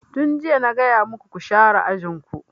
Tun jiya na gaya maku ku share ajin ku!